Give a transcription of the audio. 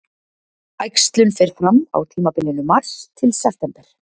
Æxlun fer fram á tímabilinu mars-september.